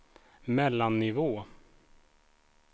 mellannivå